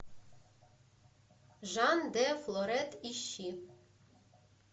жан де флоретт ищи